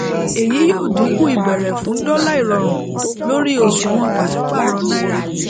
èyí yóò dínkù ìbéèrè fún dọlà ìrọrùn lórí òṣùwòn pàṣípàrọ náírà